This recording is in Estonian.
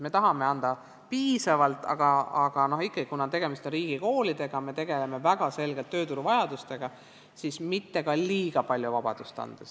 Me tahame anda piisavalt paindlikkust, aga ikkagi, kuna tegemist on riigikoolidega, siis me tegeleme väga selgelt tööturu vajadustega, mitte liiga palju vabadust andes.